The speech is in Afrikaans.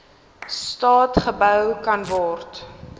staat gebou kanword